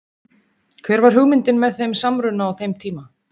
Hver var hugmyndin með þeim samruna á þeim tíma?